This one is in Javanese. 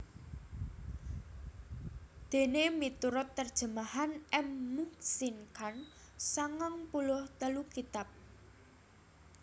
Déné miturut terjemahan M Muhsin Khan sangang puluh telu kitab